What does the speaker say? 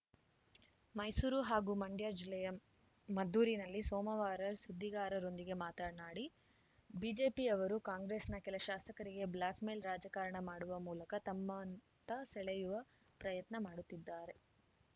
ಮೈಸೂರು ಹಾಗೂ ಮಂಡ್ಯ ಜಿಲ್ಲೆಯ ಮದ್ದೂರಿನಲ್ಲಿ ಸೋಮವಾರ ಸುದ್ದಿಗಾರರೊಂದಿಗೆ ಮಾತನಾಡಿ ಬಿಜೆಪಿಯವರು ಕಾಂಗ್ರೆಸ್‌ನ ಕೆಲ ಶಾಸಕರಿಗೆ ಬ್ಲ್ಯಾಕ್‌ಮೇಲ್‌ ರಾಜಕಾರಣ ಮಾಡುವ ಮೂಲಕ ತಮ್ಮತ್ತ ಸೆಳೆಯುವ ಪ್ರಯತ್ನ ಮಾಡುತ್ತಿದ್ದಾರೆ